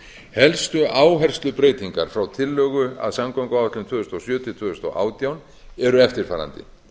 helstu áherslubreytingar frá tillögu að samgönguáætlun tvö þúsund og sjö til tvö þúsund og átján eru eftirfarandi